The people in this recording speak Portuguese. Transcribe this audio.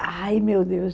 Ai, meu Deus!